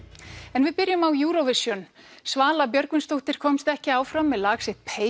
en við byrjum á Eurovision Svala Björgvinsdóttir komst ekki áfram með lag sitt